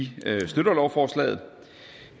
lovforslaget